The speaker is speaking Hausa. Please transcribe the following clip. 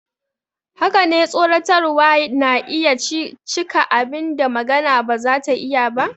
Haka ne, tsoratarwa na iya cika abin da magana ba za ta iya ba.